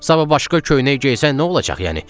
Saba başqa köynək geyisən nə olacaq yəni?